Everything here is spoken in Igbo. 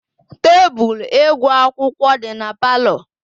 Tebụl ịgụ akwụkwọ dị na palọ.